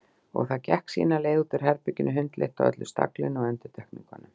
Og það gekk sína leið út úr herberginu, hundleitt á öllu staglinu og endurtekningunum.